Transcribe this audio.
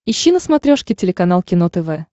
ищи на смотрешке телеканал кино тв